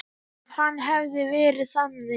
Ef hann hefði verið þannig.